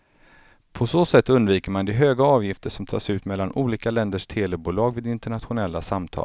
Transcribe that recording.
På så sätt undviker man de höga avgifter som tas ut mellan olika länders telebolag vid internationella samtal.